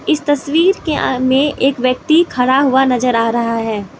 इस तस्वीर के आ में एक व्यक्ति खड़ा हुआ नजर आ रहा है।